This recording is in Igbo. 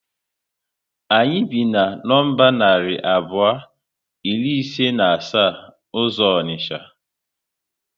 Anyị bi na nọmba narị abụọ iri ise na asa uzo onicha